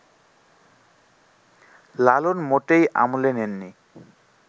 লালন মোটেই আমলে নেন নি